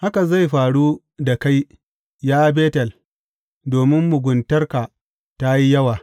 Haka zai faru da kai, ya Betel, domin muguntarka ta yi yawa.